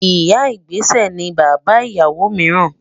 Ìyà-ìgbésẹ̀ ni bàbá ìyáwó míìràn